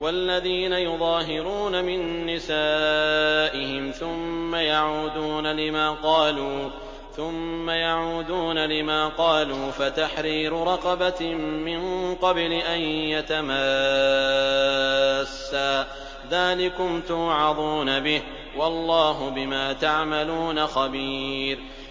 وَالَّذِينَ يُظَاهِرُونَ مِن نِّسَائِهِمْ ثُمَّ يَعُودُونَ لِمَا قَالُوا فَتَحْرِيرُ رَقَبَةٍ مِّن قَبْلِ أَن يَتَمَاسَّا ۚ ذَٰلِكُمْ تُوعَظُونَ بِهِ ۚ وَاللَّهُ بِمَا تَعْمَلُونَ خَبِيرٌ